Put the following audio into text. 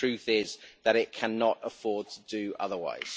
The truth is that it cannot afford to do otherwise.